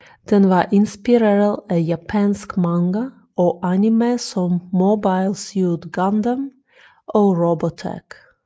Den var inspireret af japansk manga og anime som Mobile Suit Gundam og Robotech